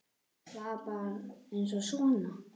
Var það bara aðeins svona?